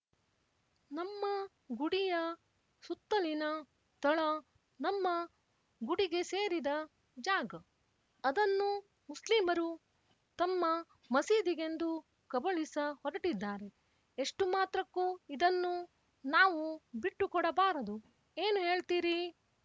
ನಮ್ಮ ಗುಡಿಯ ಸುತ್ತಲಿನ ತಳ ನಮ್ಮ ಗುಡಿಗೆ ಸೇರಿದ ಜಾಗ ಅದನ್ನು ಮುಸ್ಲಿಮರು ತಮ್ಮ ಮಸೀದಿಗೆಂದು ಕಬಳಿಸ ಹೊರಟಿದ್ದಾರೆ ಎಷ್ಟು ಮಾತ್ರಕ್ಕೂ ಇದನ್ನು ನಾವು ಬಿಟ್ಟು ಕೊಡಬಾರದು ಏನು ಹೇಳ್ತೀರೀ